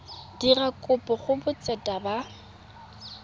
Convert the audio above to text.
dira kopo go botseta ba